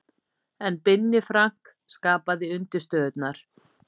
En Binni Frank skapaði undirstöðurnar.